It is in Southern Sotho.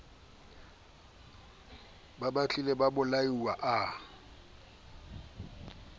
a betilwe a bolailwe a